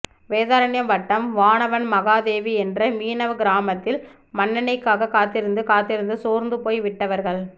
வேதாரண்யம் வட்டம் வானவன் மகாதேவி என்ற மீனவ கிராமத்தில் மண் எண்ணெய்க்காக காத்திருந்து காத்திருந்து சோர்ந்து போய் விட்டவர்கள்